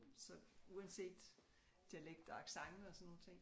Så uanset dialekt og accent og sådan nogle ting